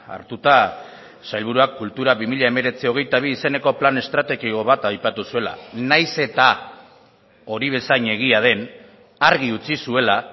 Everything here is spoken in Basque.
hartuta sailburuak kultura bi mila hemeretzi hogeita bi izeneko plan estrategiko bat aipatu zuela nahiz eta hori bezain egia den argi utzi zuela